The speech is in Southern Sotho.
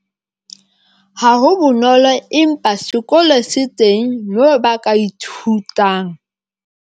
Ha ho bonolo, empa sekolo se teng moo ba ka ithutang.